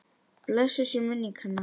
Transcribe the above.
Blessuð sé minning hennar!